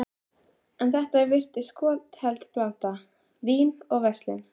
En þetta virðist skotheld blanda: vín og verslun.